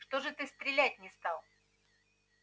что же ты стрелять не стал